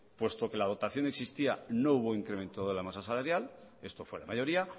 puesto que la dotación existía no hubo incremento de la masa salarial esto fue la mayoría